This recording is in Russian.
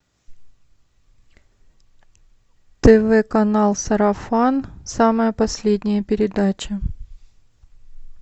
тв канал сарафан самая последняя передача